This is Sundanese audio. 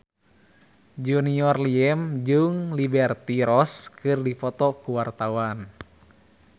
Junior Liem jeung Liberty Ross keur dipoto ku wartawan